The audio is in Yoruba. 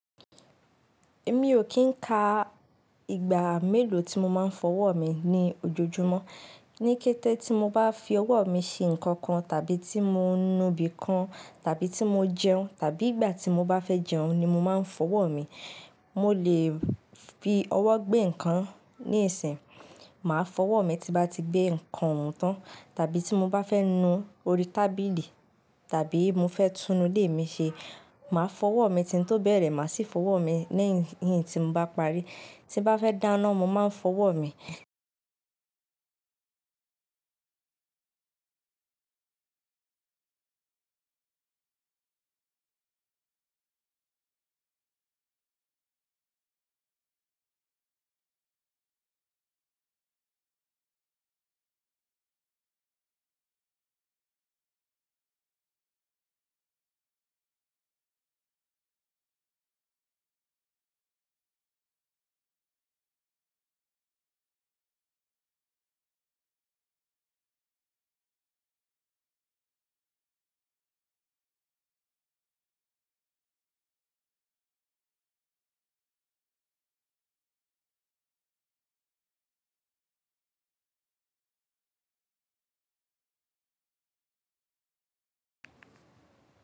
Èmi ò kí ń ka ìgbà mélòó tí mo máa ń fọwọ́ mi ní ojoojúmọ́. Ni kété tí mo bá fi ọwọ́ mi ṣe nǹkan kan, tàbí tí mo ń nu ibìkan, tàbí tí mo jẹun, tàbí ìgbà tí mo bá fẹ́ jẹun ni mo máa ń fọwọ́ mi. Mo lè fi ọwọ́ gbé nǹkan níìsín, màá fọwọ́ mi tí bá ti gbé nǹkan oun tán, tàbí tí mo bá fẹ́ nu orí tábìlì tàbí mo fẹ́ tun inu ilé mi ṣe, màá fọwọ́ mi kí ń tó bẹ̀rẹ̀, màá sì fọwọ́ mi lẹyìn tí mo bá parí. Tí n bá fẹ́ dáná, mo máa ń fọwọ́ mi.